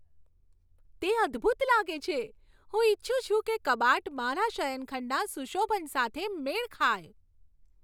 તે અદ્ભુત લાગે છે! હું ઈચ્છું છું કે કબાટ મારા શયનખંડના સુશોભન સાથે મેળ ખાય.